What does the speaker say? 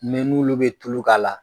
n'olu bɛ tulu k'a la